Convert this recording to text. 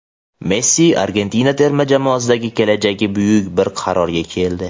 Messi Argentina terma jamoasidagi kelajagi bo‘yicha bir qarorga keldi.